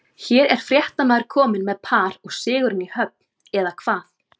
Hér er fréttamaður kominn með par og sigurinn í höfn, eða hvað?